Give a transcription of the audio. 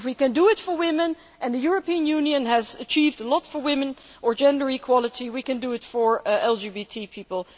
If we can do it for women, and the European Union has achieved a lot for women and gender equality, we can do it for LGBT people.